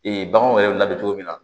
Ee baganw yɛrɛ bɛ labɛn cogo min na